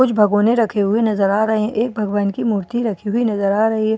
कुछ भगौने रखे हुए नज़र आ रहे है एक भगवान की मूर्ति रखी हुई नज़र आ रही --